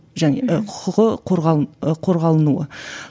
және і құқығы і қорғанылуы